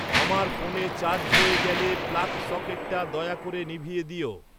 আমার ফোনে চার্জ হয়ে গেলে প্লাগ সকেটটা দয়া করে নিভিয়ে দিও